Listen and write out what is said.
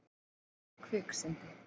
Þetta var kviksyndi.